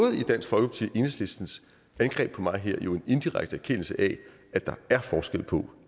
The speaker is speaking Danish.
enhedslistens angreb på mig her en indirekte erkendelse af at der er forskel på